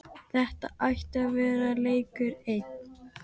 Þetta ætti að vera leikur einn.